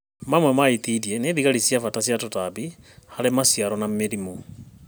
Mamwe ma itindiĩ nĩ thigari cia bata cia tũtambi harĩ maciaro na mĩrimũ